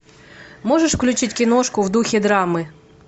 можешь включить киношку в духе драмы